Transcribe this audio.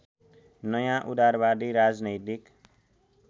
नयाँ उदारवादी राजनैतिक